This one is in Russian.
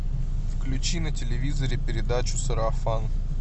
включи на телевизоре передачу сарафан